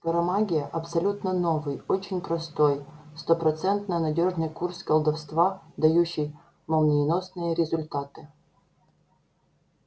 скоромагия абсолютно новый очень простой стопроцентно надёжный курс колдовства дающий молниеносные результаты